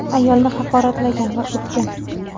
ayolni haqoratlagan va urgan.